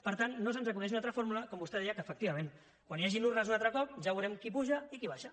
per tant no se’ns acudeix una altra fórmula com vostè deia que efectivament quan hi hagin urnes un altre cop ja veurem qui puja i qui baixa